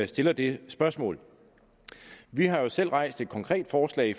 stiller det spørgsmål vi har jo selv rejst et konkret forslag